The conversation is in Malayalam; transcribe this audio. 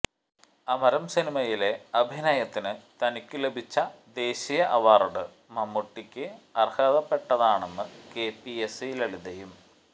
അമരം സിനിമയിലെ അഭിനയത്തിന് തനിക്കു ലഭിച്ച ദേശീയ അവാർഡ് മമ്മൂട്ടിക്ക് അർഹതപ്പട്ടതാണെന്ന് കെപിഎസി ലളിതയും